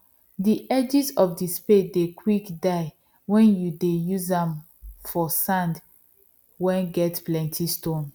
the edges of spade dey quick die wen you dey use am for sand wen get plenty stone